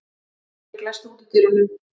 Henrik, læstu útidyrunum.